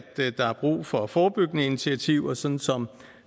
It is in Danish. der er brug for forebyggende initiativer sådan som